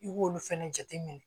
I b'olu fɛnɛ jateminɛ